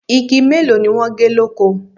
Igi mélòó ni wọ́n gé lóko?